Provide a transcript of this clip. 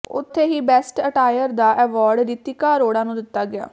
ਉੱਥੇ ਹੀ best attire ਦਾ ਐਵਾਰਡ ਰਿਤਿਕਾ ਅਰੋੜਾ ਨੂੰ ਦਿੱਤਾ ਗਿਆ